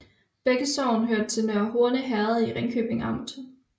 Begge sogne hørte til Nørre Horne Herred i Ringkøbing Amt